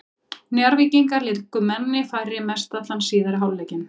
Njarðvíkingar léku manni fleiri mest allan síðari hálfleikinn.